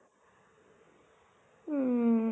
উম